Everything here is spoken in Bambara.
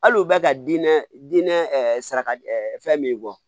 Hali u bɛ ka diinɛ dinɛ saraka fɛn min bɔ